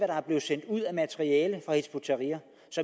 der er blevet sendt ud af materiale fra hizb ut tahrir